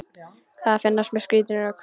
Það finnast mér skrítin rök.